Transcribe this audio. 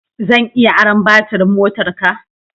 Zan iya aron baturin motarka?